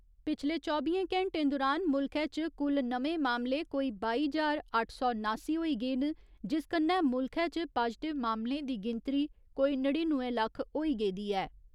पिछले चौबियें घैंटें दुरान मुल्खै च कुल नमें मामले कोई बाई ज्हार अट्ठ सौ नासी होई गे न जिस कन्नै मुल्खै च पाजटिव मामलें दी गिनतरी कोई नड़िनुए लक्ख होई गेदी ऐ।